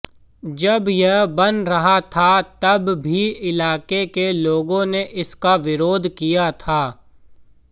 जब यह बन रहा था तब भी इलाके के लोगों ने इसका विरोध किया था